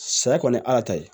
Saya kɔni ye ala ta ye